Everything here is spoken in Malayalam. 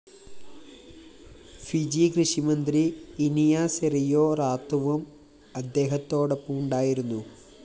ഫിജി കൃഷിമന്ത്രി ഇനിയ സെറിയോ റാത്തുവും അദ്ദേഹത്തോടൊപ്പമുണ്ടായിരുന്നു